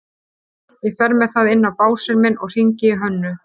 Ég fer með það inn á básinn minn og hringi í Hönnu.